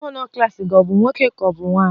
Gọvanọ klas gị ọ bụ nwoke ka ọ bụ nwanyị?